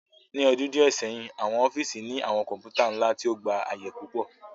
Ni ọdun diẹ sẹhin, awọn ọfiisi ni awọn kọǹpútà nla ti o gba aaye pupọ